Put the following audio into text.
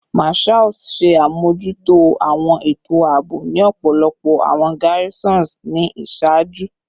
Marshals ṣe amojuto awọn eto aabo ni ọpọlọpọ awọn garrisons ni iṣaaju